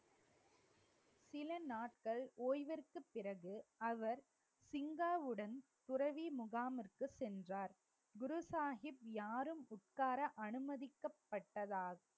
சில நாட்கள் ஓய்விற்கு பிறகு அவர் சிங்காவுடன் துறவி முகாமிற்கு சென்றார் குரு சாஹிப் யாரும் உட்கார அனுமதிக்கப்பட்டதா